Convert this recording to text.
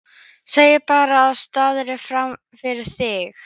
Þagði bara og starði fram fyrir sig.